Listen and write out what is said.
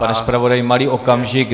Pane zpravodaji, malý okamžik.